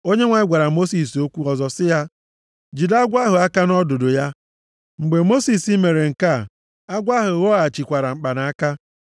Onyenwe anyị gwara Mosis okwu ọzọ sị ya, “Jide agwọ ahụ aka nʼọdụdụ ya.” Mgbe Mosis mere nke a, agwọ ahụ ghọghachikwara mkpanaka.